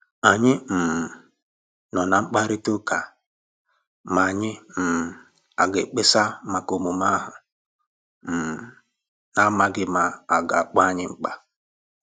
Ànyị um nọ̀ ná mkpàrịtà ụ́ka ma anyị um aga ekpesa maka omume ahu, um n'amsghi ma aga akpọ anyi mkpa